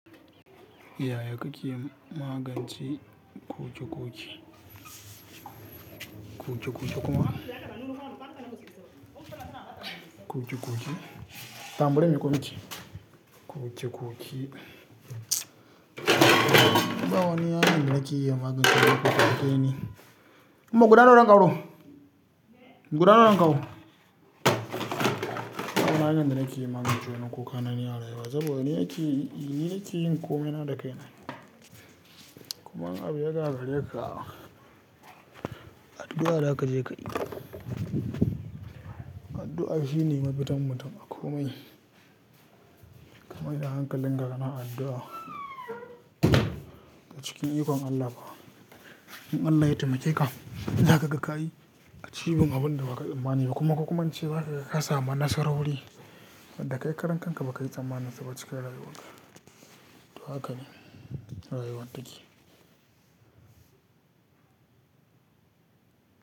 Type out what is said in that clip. Yaya kake yi magance kuje kuje? Kuje kuje kuma? Kuje kuje? Tam bari in miko miki. Kuje kuje. Baba wani ya na gina ki yi maganci naku ka ke ni. Umma guda nawa zan ƙaro? Guda nawa zan kawo? Baba na gina ki yi maganci na kuka na ni a rayuwa saboda ni ya ki, ni ya ki yin komai na da kai na. Kuma in abu ya ga kare ka, addu'a za ka je ka yi. Addu'a shine mafitan mutum a komai. Kamai da hankalin ka ga kan addu'a a cikin ikon Allah ba. In Allah ya taimake ka, za ka ga ka yi achieving abin da ba ka tsammani ba kuma ka kuma ce ba ka ga ka samu nasarori da kai karen ka ba ka yi tsammanin su ba cika rayuwar ka. To haka ne rayuwar take.